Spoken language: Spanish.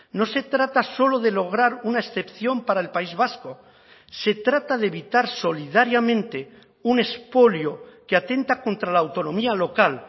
no se trata solo de lograr una excepción para el país vasco se trata de evitar solidariamente un expolio que atenta contra la autonomía local